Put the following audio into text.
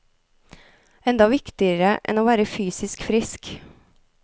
Enda viktigere enn å være fysisk frisk.